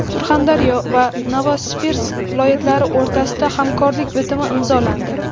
Surxondaryo va Novosibirsk viloyatlari o‘rtasida hamkorlik bitimi imzolandi.